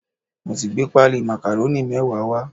Mo ti gbé páálí màkàrónì mẹ́wàá wá